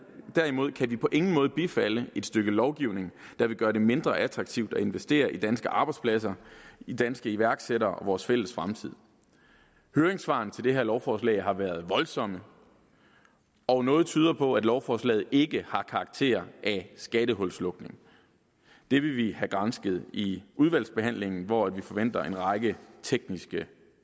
derimod kan vi på ingen måde bifalde et stykke lovgivning der vil gøre det mindre attraktivt at investere i danske arbejdspladser i danske iværksættere og vores fælles fremtid høringssvarene til det her lovforslag har været voldsomme og noget tyder på at lovforslaget ikke har karakter af skattehulslukning det vil vi have gransket i udvalgsbehandlingen hvor vi forventer en række tekniske